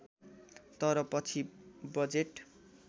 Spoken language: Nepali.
तर पछि बजेट